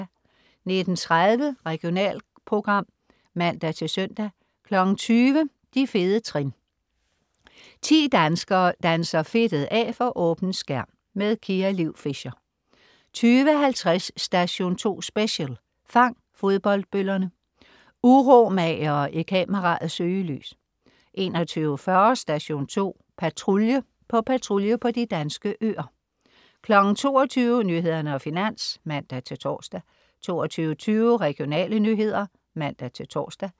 19.30 Regionalprogram (man-søn) 20.00 De fede trin. 10 danskere danser fedtet af for åben skærm. Kia Liv Fischer 20.50 Station 2 Special: Fang fodboldbøllerne. Uromagere i kameraets søgelys 21.40 Station 2 Patrulje. På patrulje på de danske øer 22.00 Nyhederne og Finans (man-tors) 22.20 Regionale nyheder (man-tors)